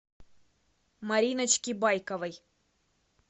мариночки байковой